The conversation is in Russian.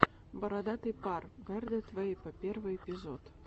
бородатый пар бэрдэд вэйпо первый эпизод